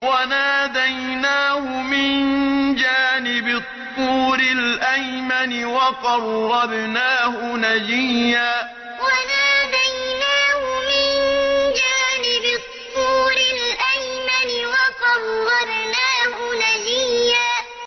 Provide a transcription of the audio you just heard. وَنَادَيْنَاهُ مِن جَانِبِ الطُّورِ الْأَيْمَنِ وَقَرَّبْنَاهُ نَجِيًّا وَنَادَيْنَاهُ مِن جَانِبِ الطُّورِ الْأَيْمَنِ وَقَرَّبْنَاهُ نَجِيًّا